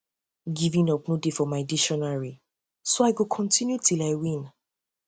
giving up no dey for um my dictionary um so i go continue um till i win